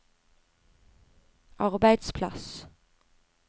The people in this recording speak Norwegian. arbeidsplass